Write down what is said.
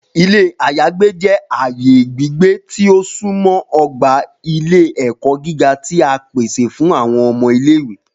Ilé àyágbe jẹ aaye gbigbe ti o sunmọ ogba ile-ẹkọ giga ti a pese fun awọn ọmọ ile-iwe.